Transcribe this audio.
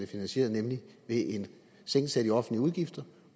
finansieret nemlig ved en sænkelse af de offentlige udgifter